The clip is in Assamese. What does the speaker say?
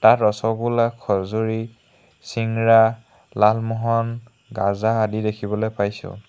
ইয়াত ৰসগোল্লা খজুৰী চিংৰা লালমোহন গাজা আদি দেখিবলৈ পাইছোঁ।